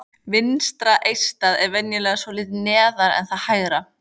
Vinstra eistað er venjulega svolítið neðar en það hægra.